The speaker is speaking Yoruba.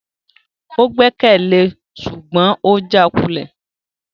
O gbẹkẹle e ṣugbọn o jaakulẹ